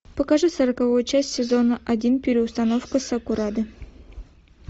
покажи сороковую часть сезона один переустановка сакурады